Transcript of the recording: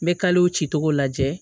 N bɛ kalew cicogo lajɛ